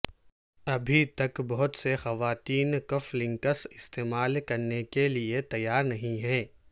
ابھی تک بہت سے خواتین کف لنکس استعمال کرنے کے لئے تیار نہیں ہیں